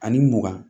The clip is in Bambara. Ani mugan